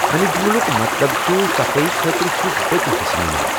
امہِ جملُک مطلب چھُ 'صفٲئی خٲطرٕ چھُس بہٕ تہِ حصہٕ نِوان۔